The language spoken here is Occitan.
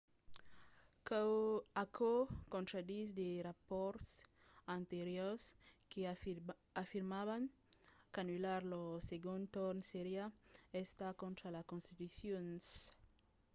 aquò contraditz de rapòrts anteriors que afirmavan qu’anullar lo segond torn seriá estat contra la constitucion